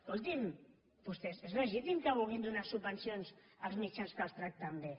escolti’m vostès és legítim que vulguin donar subvencions als mitjans que els tracten bé